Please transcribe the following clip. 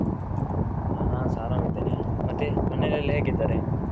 ಹಾ ನಾನ್ಸ ಆರಾಮ್ ಇದ್ದೇನೆ ಮತ್ತೆ ಮನೇಲಿ ಎಲ್ಲ ಹೇಗಿದ್ದಾರೆ?